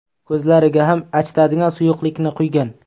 Ko‘zlariga ham achitadigan suyuqlikni quygan.